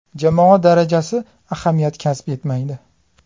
Jamoa darajasi ahamiyat kasb etmaydi.